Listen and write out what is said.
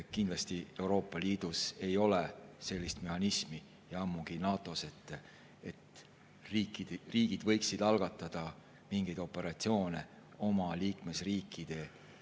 Kindlasti ei ole Euroopa Liidus ja ammugi mitte NATO‑s sellist mehhanismi, et riigid võiksid algatada mingeid operatsioone oma liikmesriikides.